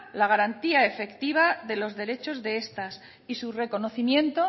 la garantía efectiva de los derechos de estas y su reconocimiento